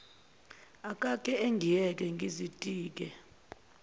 akake angiyeke ngizitike